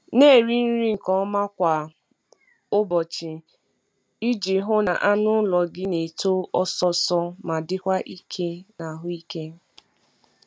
Na-eri nri nke ọma kwa ụbọchị iji hụ na anụ ụlọ gị na-eto ọsọ ọsọ ma dịkwa ike na ahụike.